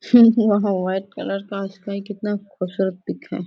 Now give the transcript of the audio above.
वहाँ white colour का sky कितना खूबसूरत पिक है।